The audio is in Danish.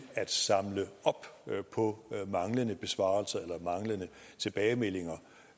at samle op på manglende besvarelser eller manglende tilbagemeldinger